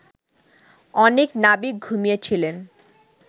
অনেক নাবিক ঘুমিয়ে ছিলেন